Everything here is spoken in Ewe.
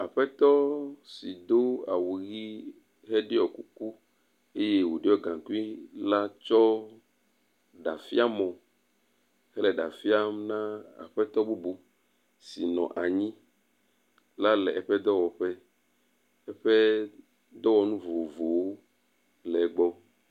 Aƒetɔ si do awu ʋi ɖe ɖɔ kuku eye woɖɔ gaŋkui la tsɔ ɖafiamɔ kple ɖa fiam na aƒetɔ bubu si nɔ anyi la le eƒe dɔwɔƒe. Eƒe dɔwɔnu vovovowo le egbɔ.